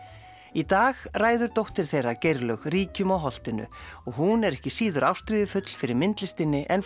í dag ræður dóttir þeirra Geirlaug ríkjum á holtinu og hún er ekki síður ástríðufull fyrir myndlistinni en